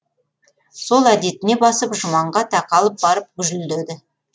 сол әдетіне басып жұманға тақалып барып гүжілдеді